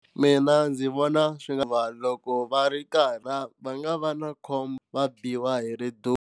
Mina ndzi vona swi nga va loko va ri karhi va nga va na khombo va biwa hi ri dumo.